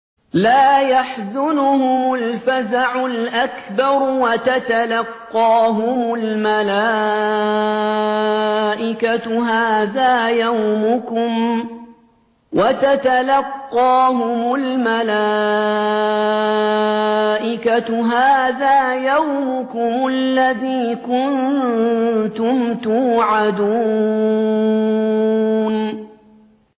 لَا يَحْزُنُهُمُ الْفَزَعُ الْأَكْبَرُ وَتَتَلَقَّاهُمُ الْمَلَائِكَةُ هَٰذَا يَوْمُكُمُ الَّذِي كُنتُمْ تُوعَدُونَ